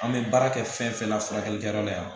An bɛ baara kɛ fɛn fɛn la furakɛlikɛyɔrɔ la yan